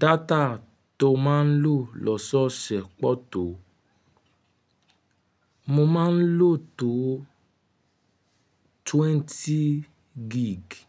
Data to máa ń lò lọ́sọ̀ọ̀ ṣẹ̀ pọ̀ tó, mo máa ń lò tó twenty giigi.